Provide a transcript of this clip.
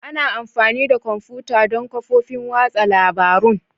Ana amfani da kwamfuta don kafofin watsa labarun.